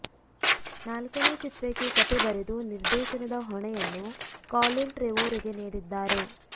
ನಾಲ್ಕನೇ ಚಿತ್ರಕ್ಕೆ ಕಥೆ ಬರೆದು ನಿರ್ದೇಶನದ ಹೊಣೆಯನ್ನು ಕಾಲಿನ್ ಟ್ರೆವೊರೊಗೆ ನೀಡಿದ್ದಾರೆ